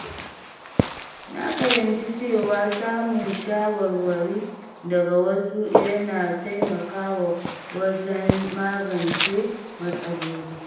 Na fahimci cewa samun shawarwari daga wasu yana taimakawa wajen magance matsaloli.